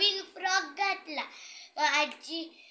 कायम गोंगाट व कर्कश आवाजामुळे बहिरेपणा येतो. शंभर decibel पेक्षा जास्त